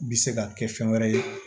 Bi se ka kɛ fɛn wɛrɛ ye